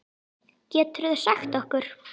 Geturðu sagt okkur?